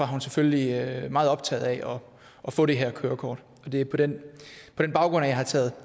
hun selvfølgelig meget optaget af at få det her kørekort og det er på den baggrund at jeg har taget